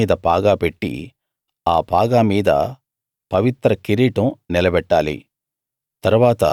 అతని తలమీద పాగా పెట్టి ఆ పాగా మీద పవిత్ర కిరీటం నిలబెట్టాలి